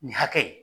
Nin hakɛ